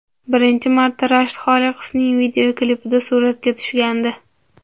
Birinchi marta Rashid Xoliqovning video klipida suratga tushgandi.